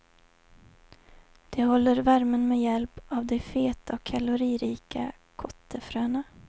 De håller värmen med hjälp av de feta och kaloririka kottefröna.